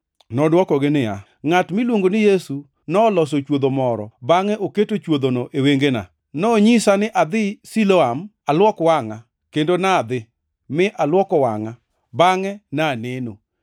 Nodwokogi niya, “Ngʼat miluongo ni Yesu noloso chwodho moro bangʼe oketo chwodhono e wengena. Nonyisa ni adhi Siloam aluok wangʼa, kendo ne adhi mi aluoko wangʼa, bangʼe ne aneno.”